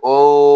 O